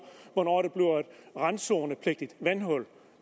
hvornår de er randzonepligtige vandhuller